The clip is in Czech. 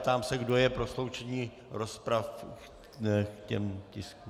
Ptám se, kdo je pro sloučení rozpravy k těm tiskům.